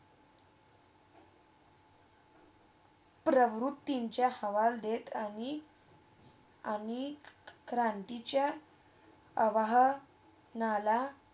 पराहुतीच्या हवळ देत आणि आणि क्रांतीच्या अव्हळ नाला